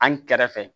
An kɛrɛfɛ